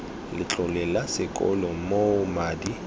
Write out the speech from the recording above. letlole la sekolo moo madi